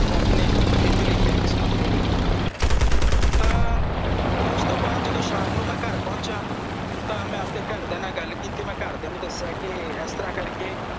ਰੱਬ ਨੇ ਇਹੀ ਲਿਖਿਆ ਕਿਸਮਤ ਨੇ ਇਹੀ ਲਿਖਿਆ ਤਾਂ ਓਸ ਤੋਂ ਬਾਅਦ ਜਦੋਂ ਸ਼ਾਮ ਨੂੰ ਮੈਂ ਘਰ ਪਹੁੰਚਿਆ ਤਾਂ ਮੈਂ ਆਪਣੇ ਘਰਦਿਆਂ ਨਾਲ ਗੱਲ ਕੀਤੀ ਮੈਂ ਘਰ ਦਿਆਂ ਨੂੰ ਦੱਸਿਆ ਕੇ ਇਸਤਰਾਂ ਕਰਕੇ ਰੱਬ ਨੇ ਇਹੀ ਲਿਖਿਆ ਐ ਕਿਸਮਤ ਨੇ ਇਹੀ ਲਿਖਿਆ